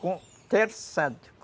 Com o terçado.